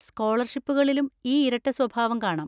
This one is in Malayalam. സ്കോളർഷിപ്പുകളിലും ഈ ഇരട്ടസ്വഭാവം കാണാം.